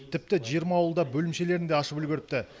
тіпті жиырма ауылда бөлімшелерін де ашып үлгеріпті